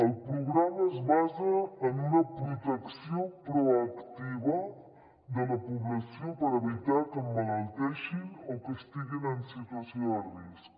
el programa es basa en una protecció proactiva de la població per evitar que emmalalteixin o que estiguin en situació de risc